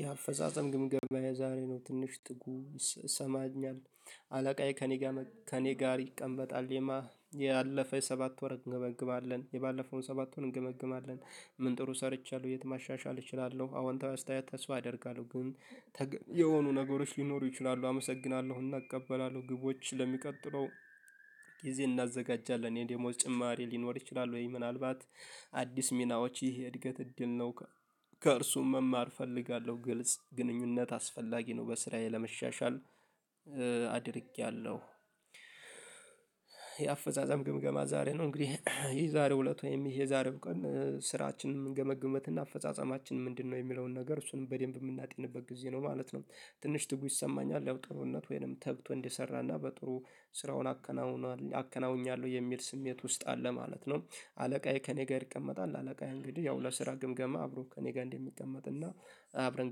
የአፈጻጸም ግምገማ የዛሬ ነው ትንሽ ትጉ ይሰማኛል አለቃዬ ከእኔ ጋር ከእኔ ጋር ይቀመጣል የማ ያለፈ ሰባት ወር እንገመግማለን ያለፈውን ሰባት ወር እንገመግማለን። ምን ጥሩ ሰርቻለሁ የት ማሻሻል እችላለሁ አዎንታዊ አስተያየት ተስፋ አደርጋለሁ ግን የሆኑ ነገሮች ሊኖሩ ይችላሉ አመሰግናለሁና እቀበላለሁ ግቦች ለሚቀጥለው ጊዜ እናዘጋጃለን የዴሞዝ ጭማሪ ሊኖር ይችላል ወይ? ምናልባት አዲስ ሚናዎች ይህ እድገት እድል ነው። ከእርሱም መማር እፈልጋለሁ። ግልጽ ግንኙነት አስፈላጊ ነው በስራዬ ለመሻሻል አድርጌያለሁ የአፈጻጸም ግምገማ ዛሬ ነው እንግዲህ የዛሬው እለት ወይም የዛሬው ቀን ስራችንን ምንገመግምበት እና አፈጻጸማችን ምንድነው የሚለውን ነገር እሱንም በደንብ የምናጤንበት ጊዜ ነው ማለት ነው። ትንሽ ትጉ ይሰማኛል ለውጥነት ወይንም ተግቶ እንዲሰራና በጥሩ ስራውን አከናውኗል አከናውኛለሁ የሚል ስሜት ውስጥ አለ ማለት ነው። አለቃዬ ከእኔ ጋር ይቀመጣል። አለቃዬ እንግዲህ ያው ለስራ ግምገማ አብሮ ከእኔ ጋር እንደሚቀመጥ እና አብረን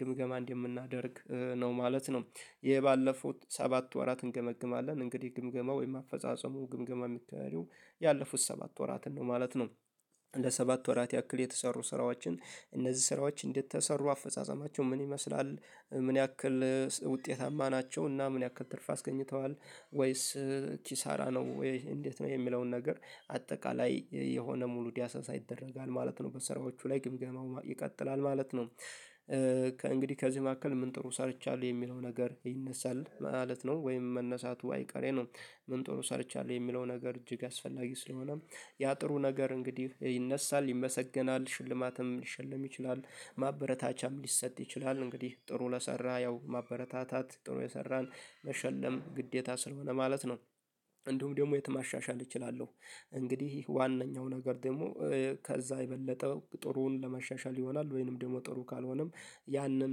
ግምገማ እንደምናደርግ ነው ማለት ነው። የባለፉት ሰባት ወራት እንገመግማለን እንግዲህ ግምገማ ወይም አፈጻጸሙ ግምገማ የሚካሄደው ያለፉት ሰባት ወራትን ነው ማለት ነው። ለሰባት ወራት ያክል የተሰሩ ስራዎችን እነዚህ ስራዎች እንዴት ተሰሩ አፈጻጸማቸው ምን ይመስላል ምን ያክል ውጤታማ ናቸው እና ምን ያክል ትርፍ አስገኝተዋል ወይስ ኪሳራ ነው ወይ እንዴት ነው የሚለውን ነገር አጠቃላይ የሆነ ሙሉ ዳሳሳ ይደረጋል ማለት ነው። በስራዎቹ ላይ ግምገማው ይቀጥላል ማለት ነው። ከእንግዲህ ከዚህ መካከል ምን ጥሩ ሰርቻለሁ የሚለው ነገር ይነሳል ማለት ነው ወይም መነሳቱ አይቀሬ ነው። ምን ጥሩ ሰርቻለሁ የሚለው ነገር እጅግ አስፈላጊ ስለሆነ ያ ጥሩ ነገር እንግዲህ ይነሳል ፥ይመሰገናል፥ ሽልማትም ሊሸለም ይችላል ማበረታቻም ሊሰጥ ይችላል። እንግዲህ ጥሩ ለሰራ ያው ማበረታታት ጥሩ የሰራን መሸለም ግዴታ ስለሆነ ማለት ነው እንዲሁም ደግሞ የት ማሻሻል እችላለሁ እንግዲህ ዋነኛው ነገር ደግሞ ከዛ የበለጠ ጥሩውን ለማሻሻል ይሆናል ወይንም ደግሞ ጥሩ ካልሆነም ያንን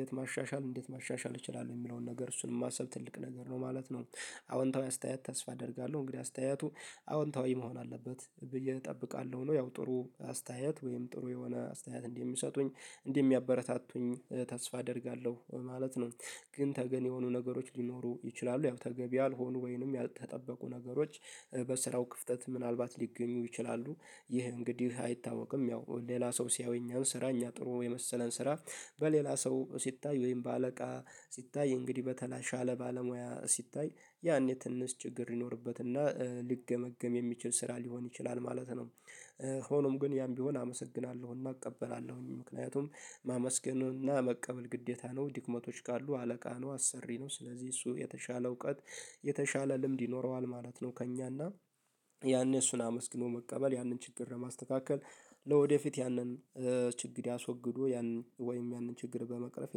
የት ማሻሻል እንዴት ማሻሻል እችላለሁ የሚለውን ነገር እሱን ማሰብ ትልቅ ነገር ነው ማለት ነው። አዎንታዊ አስተያየት ተስፋ አደርጋለሁ እንግዲህ አስተያየቱ አዎንታዊ መሆን አለበት ብዬ እጠብቃለሁ ነው። ያው ጥሩ አስተያየት ወይም ጥሩ የሆነ አስተያየት እንደሚሰጡኝ እንደሚያበረታቱኝ ተስፋ አደርጋለሁ ማለት ነው። ግን ተገቢ የሆኑ ነገሮች ሊኖሩ ይችላሉ ያው ተገቢ ያልሆኑ ወይንም የተጠበቁ ነገሮች በስራው ክፍተት ምናልባት ሊገኙ ይችላሉ ይህ እንግዲህ አይታወቅም ያው ሌላ ሰው ሲያዩኝ ስራኝ አጥሮ የመሰለን ስራ በሌላ ሰው ሲታይ ወይም በአለቃ ሲታይ እንግዲህ በተሻለ ባለሙያ ሲታይ ያኔ ትንሽ ችግር ይኖርበትና ሊገመግም የሚችል ስራ ሊሆን ይችላል ማለት ነው። ሆኖም ግን ያም ቢሆን አመሰግናለሁና እቀበላለሁኝ ምክንያቱም ማመስገንና መቀበል ግዴታ ነው ድክመቶች ካሉ አለቃ ነው አሰሪ ነው ስለዚህ እሱ የተሻለ እውቀት የተሻለ ልምድ ይኖረዋል ማለት ነው ከእኛና ያኔ እሱን አመስግኖ መቀበል ያንን ችግር ለማስተካከል ለወደፊት ያንን ችግር ያስወግዱ ያን ወይም ያንን ችግር በመቅረፍ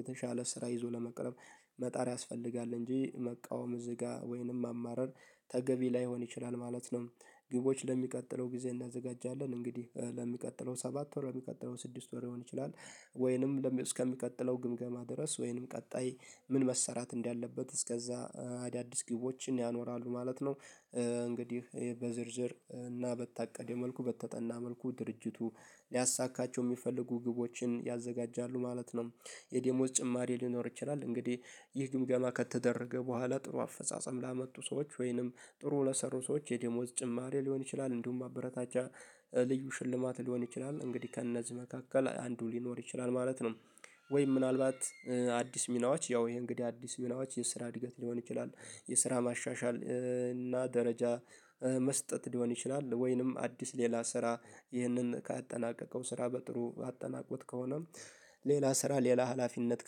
የተሻለ ስራ ይዞ ለመቅረፍ መጣር ያስፈልጋል እንጂ መቃወም እዚህ ጋር ወይንም ማማረር ተገቢ ላይሆን ይችላል ማለት ነው። ግቦች ለሚቀጥለው ጊዜ እናዘጋጃለን እንግዲህ ለሚቀጥለው ሰባት ወር ለሚቀጥለው ስድስት ወር ሊሆን ይችላል ወይንም እስከሚቀጥለው ግምገማ ድረስ ወይንም ቀጣይ ምን መሰራት እንዳለበት እስከዛ አዳዲስ ግቦችን ያኖራሉ ማለት ነው። እንግዲህ በዝርዝር እና በታቀደው መልኩ በተጠና መልኩ ድርጅቱ ሊያሳካቸው የሚፈልጉ ግቦችን ያዘጋጃሉ ማለት ነው የደሞዝ ጭማሪ ሊኖር ይችላል እንግዲህ ይህ ግምገማ ከተደረገ በኋላ ጥሩ አፈጻጸም ላመጡ ሰዎች ወይንም ጥሩ ለሰሩ ሰዎች የደሞዝ ጭማሪ ሊሆን ይችላል እንዲሁም ማበረታቻ ልዩ ሽልማት ሊሆን ይችላል እንግዲህ ከእነዚህ መካከል አንዱ ሊኖር ይችላል ማለት ነው። ወይ ምናልባት አዲስ ሚናዎች ያው ይሄ እንግዲህ አዲስ ሚናዎች የስራ እድገት ሊሆን ይችላል የስራ ማሻሻል እና ደረጃ መስጠት ሊሆን ይችላል ወይንም አዲስ ሌላ ስራ ይህንን ካጠናቀቀው ስራ በጥሩ አጠናቆት ከሆነም ሌላ ስራ ሌላ ሀላፊነት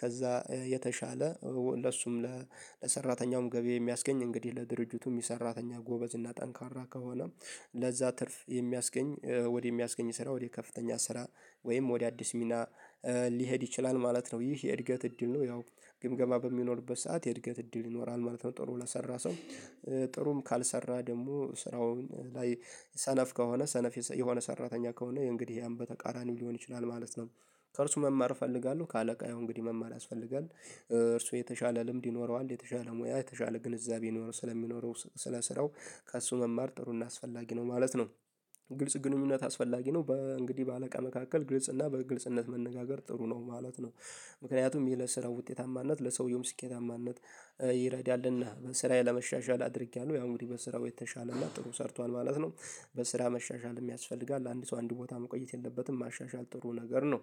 ከዛ የተሻለ ለሱም ለሰራተኛውም ገቢ የሚያስገኝ እንግዲህ ለድርጅቱም የሰራተኛ ጎበዝ እና ጠንካራ ከሆነ ለዛ ትርፍ የሚያስገኝ ወደሚያስገኝ ስራ ወደ ከፍተኛ ስራ ወይም ወደ አዲስ ሚና ሊሄድ ይችላል ማለት ነው። ይህ የእድገት እድል ነው ያው ግምገማ በሚኖርበት ሰዓት የእድገት እድል ይኖራል ማለት ነው። ጥሩ ለሰራ ሰው ጥሩም ካልሰራ ደግሞ ስራውን ላይ ሰነፍ ከሆነ ሰነፍ የሆነ ሰራተኛ ከሆነ እንግዲህ ያም በተቃራኒው ሊሆን ይችላል ማለት ነው። ከእርሱ መማር እፈልጋለሁ ከአለቃ ያው እንግዲህ መማር ያስፈልጋል እርሱ የተሻለ ልምድ ይኖረዋል የተሻለ ሙያ የተሻለ ግንዛቤ ይኖረው ስለሚኖረው ስለ ስራው ከእሱ መማር ጥሩና አስፈላጊ ነው ማለት ነው። ግልጽ ግንኙነት አስፈላጊ ነው። በእንግዲህ በአለቃ መካከል ግልጽ እና በግልጽነት መነጋገር ጥሩ ነው ማለት ነው። ምክንያቱም ይሄ ለስራ ውጤታማነት ለሰውየውም ስኬታማነት ይረዳልና በስራዬ ለመሻሻል አድርጌያለሁ ያው እንግዲህ በስራው የተሻለና ጥሩ ሰርቷል ማለት ነው በስራ መሻሻል የሚያስፈልጋል አንድ ሰው አንድ ቦታ መቆየት የለበትም ማሻሻል ጥሩ ነገር ነው